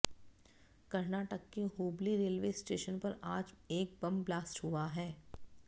कर्नाटक के Hubli railway station पर आज एक बम ब्लास्ट हुआ है